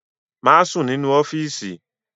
Má sùn nínú ọ́fíìsì!